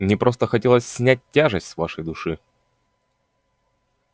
мне просто хотелось снять тяжесть с вашей души